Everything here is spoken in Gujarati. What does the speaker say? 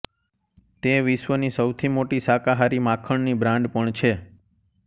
તે વિશ્વની સૌથી મોટી શાકાહારી માખણની બ્રાન્ડ પણ છે